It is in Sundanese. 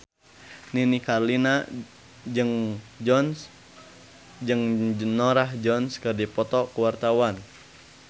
Nini Carlina jeung Norah Jones keur dipoto ku wartawan